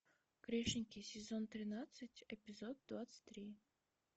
грешники сезон тринадцать эпизод двадцать три